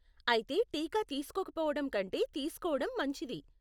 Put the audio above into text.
అయితే టీకా తీస్కోకపోవడం కంటే తీస్కోవడం మంచిది.